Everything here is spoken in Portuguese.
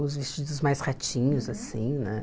Os vestidos mais retinhos, assim, né?